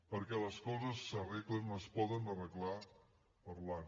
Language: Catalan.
perquè les coses s’arreglen es poden arreglar parlant